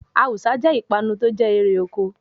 Awùsá jẹ́ ipanu tó jẹ́ èrè oko.